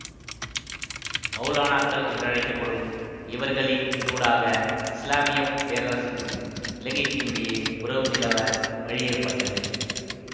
மௌலானாக்கள் என்றழைக்க படும் இவர்களினூடாக இஸ்லாமிய பேரரசுக்கும் இலங்கைக்குமிடையே உறவு நிலவ வழியேற்பட்டது